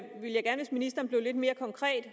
ministeren blev lidt mere konkret